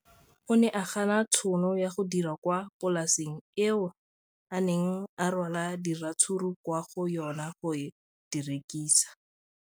O ne a gana tšhono ya go dira kwa polaseng eo a neng rwala diratsuru kwa go yona go di rekisa.